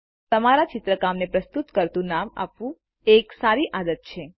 તમારા ચિત્રકામને પ્રસ્તુત કરતુ નામ આપવું એ એક સારી આદત છે